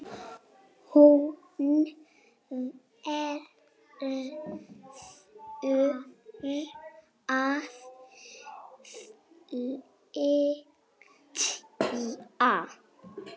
Hún verður að flytja.